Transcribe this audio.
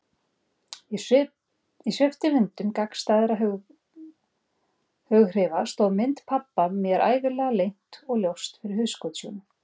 Í sviptivindum gagnstæðra hughrifa stóð mynd pabba mér ævinlega leynt og ljóst fyrir hugskotssjónum.